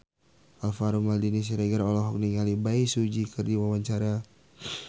Alvaro Maldini Siregar olohok ningali Bae Su Ji keur diwawancara